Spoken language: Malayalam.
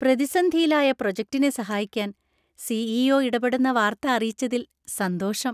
പ്രതിസന്ധിയിലായ പ്രോജക്ടിനെ സഹായിക്കാൻ സി. ഇ. ഒ ഇടപെടുന്ന വാർത്ത അറിയിച്ചതില്‍ സന്തോഷം.